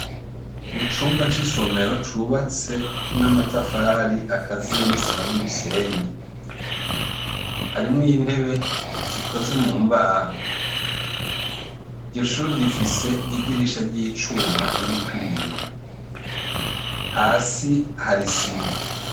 Mu cumba c'isomero cubatse n'amatafari akaziye n'isima n'umusenyi harimwo intebe zikoze mu mbaho iryo shuri rifise idirisha ry'icuma ririko ibiyo hasi Hari isima.